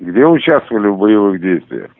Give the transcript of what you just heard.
где участвовали в боевых действиях